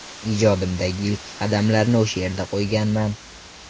Ijodimdagi ilk qadamlarimni o‘sha yerda qo‘yganman.